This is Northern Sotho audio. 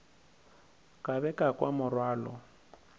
ka be ka kwa morwalo